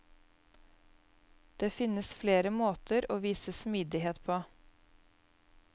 Det finnes flere måter å vise smidighet på.